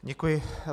Děkuji.